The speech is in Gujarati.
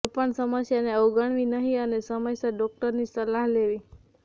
કોઈપણ સમસ્યાને અવગણવી નહિ અને સમયસર ડોક્ટરની સલાહ લેવી